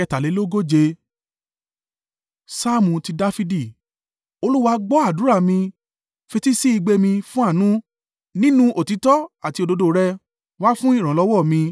Saamu ti Dafidi. Olúwa gbọ́ àdúrà mi, fetísí igbe mi fún àánú; nínú òtítọ́ àti òdodo rẹ, wá fún ìrànlọ́wọ́ mi.